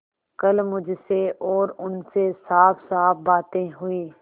कल मुझसे और उनसे साफसाफ बातें हुई